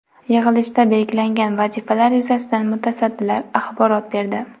Yig‘ilishda belgilangan vazifalar yuzasidan mutasaddilar axborot berdi.